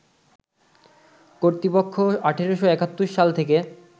কর্তৃপক্ষ ১৮৭১ সাল থেকে